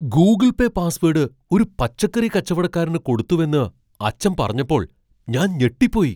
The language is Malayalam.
ഗൂഗിൾ പേ പാസ്വേഡ് ഒരു പച്ചക്കറി കച്ചവടക്കാരന് കൊടുത്തുവെന്ന് അച്ഛൻ പറഞ്ഞപ്പോൾ ഞാൻ ഞെട്ടിപ്പോയി.